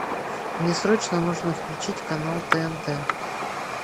мне срочно нужно включить канал тнт